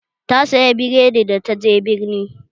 Ta saya biredi da ta je birni